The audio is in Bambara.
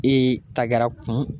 E ta gɛra kun